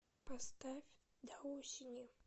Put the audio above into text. поставь до осени